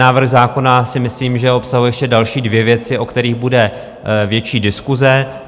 Návrh zákona si myslím, že obsahuje ještě další dvě věci, o kterých bude větší diskuse.